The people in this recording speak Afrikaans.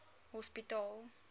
hospitaal